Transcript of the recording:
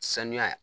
Sanuya ye